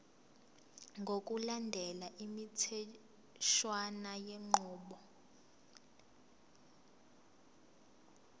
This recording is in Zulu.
ngokulandela imitheshwana yenqubo